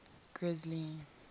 grisly